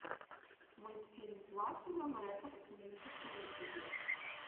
мультфильм платинум рекордс мьюзик на ютубе